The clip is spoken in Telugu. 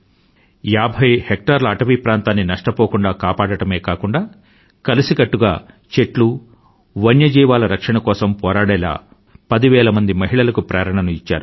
ఏభై హెక్టార్ల అటవీ ప్రాంతాన్ని నష్టపోకుండా కాపాడడమే కాకుండా కలిసికట్టుగా చెట్లు వన్యజీవాల రక్షణ కోసం పోరాడేలా పదివేల మహిళలకు ప్రేరణను ఇచ్చారు